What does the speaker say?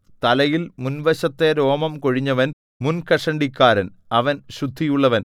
തലയിൽ മുൻവശത്തെ രോമം കൊഴിഞ്ഞവൻ മുൻകഷണ്ടിക്കാരൻ അവൻ ശുദ്ധിയുള്ളവൻ